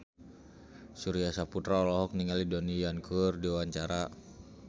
Surya Saputra olohok ningali Donnie Yan keur diwawancara